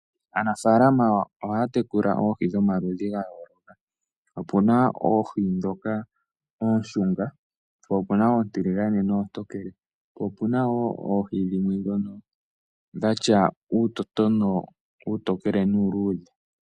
Aanafaalama ohaya tekula omaludhi goohi ga yooloka. Opuna oohi ndhoka ooshunga po opuna oontiligane noontokele po opuna woo oohi dhimwe ndhono dhatya uutotonwa uutookele nuu luudhe.